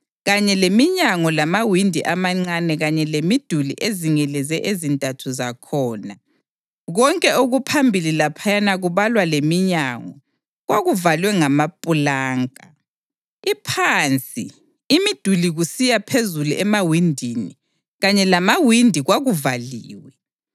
kanye leminyango lamawindi amancane kanye lemiduli ezingeleze ezintathu zakhona, konke okuphambili laphaya kubalwa leminyango kwakuvalwe ngamapulanka. Iphansi, imiduli kusiya phezulu emawindini, kanye lamawindi kwakuvaliwe.